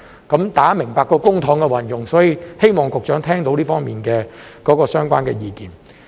大家明白這涉及公帑運用，所以希望局長聽到這方面相關的意見。